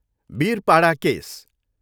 Birpara case